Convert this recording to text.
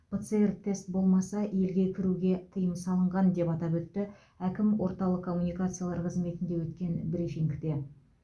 пцр тест болмаса елге кіруге тыйым салынған деп атап өтті әкім орталық коммуникациялар қызметінде өткен брифингте